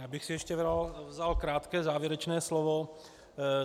Já bych si ještě vzal krátké závěrečné slovo.